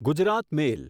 Gujarat મેલ